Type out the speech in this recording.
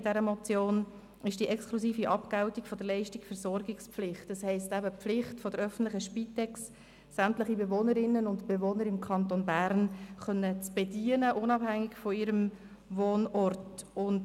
Es geht um die exklusive Abgeltung der Versorgungspflicht, das heisst die Pflicht der öffentlichen Spitex, sämtliche Bewohnerinnen und Bewohner im Kanton Bern unabhängig von ihrem Wohnort zu bedienen.